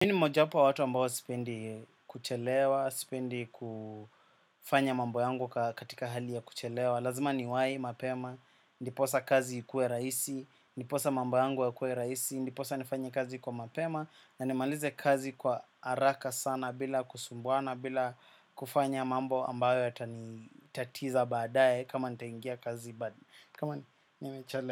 Mimi ni mojawapo wa watu ambao sipendi kuchelewa, sipendi kufanya mambo yangu katika hali ya kuchelewa. Lazima niwai mapema ndiposa kazi ikuwe rahisi, ndiposa mambo yangu yakuwe rahisi, ndiposa nifanye kazi kwa mapema na nimalize kazi kwa haraka sana bila kusumbuana, bila kufanya mambo ambayo yatanitatiza baadae kama nitaingia kazi kama nimechele.